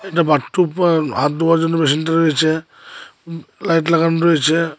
একটা বাথটুব আর হাত ধোয়ার জন্য মেশিনটা রয়েছে লাইট লাগানো রয়েছে।